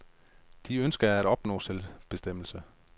De ønsker at opnå selvbestemmelse.